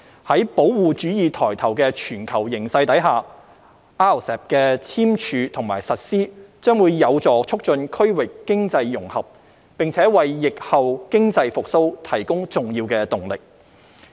在保護主義抬頭的全球形勢下 ，RCEP 的簽署和實施將有助促進區域經濟融合，並為疫後經濟復蘇提供重要動力。